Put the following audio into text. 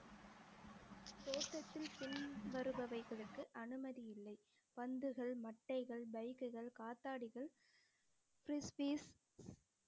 தோட்டத்தில் பின் வருபவைகளுக்கு அனுமதி இல்லை பந்துகள் மட்டைகள் bike குகள் காத்தாடிகள்